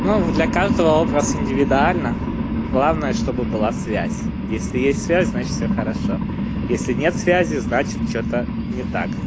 ну для каждого образ индивидуально главное чтобы была связь если есть связь значит всё хорошо если нет связи значит что-то не так